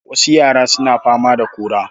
Wasu yara suna fama da kora.